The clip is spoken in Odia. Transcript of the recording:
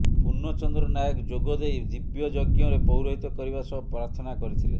ପୁର୍ଣ୍ଣଚନ୍ଦ୍ର ନାୟକ ଯୋଗ ଦେଇ ଦିବ୍ୟଯଜ୍ଞରେ ପୌରହିତ କରିବା ସହ ପ୍ରାର୍ଥନା କରିଥିଲେ